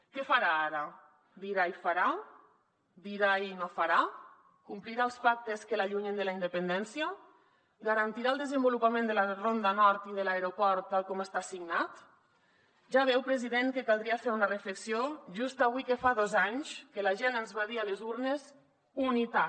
què farà ara dirà i farà dirà i no farà complirà els pactes que l’allunyen de la independència garantirà el desenvolupament de la ronda nord i de l’aeroport tal com està signat ja veu president que caldria fer una reflexió just avui que fa dos anys que la gent ens va dir a les urnes unitat